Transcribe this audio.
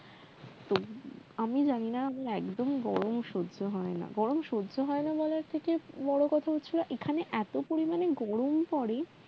তো আমি জানিনা আমার একদম গরম সজ্জ হয় না গরম সজ্জ হয়না বলার থেকে বড় কথা হচ্ছে এখানে এত পরিমানে গরম পড়ে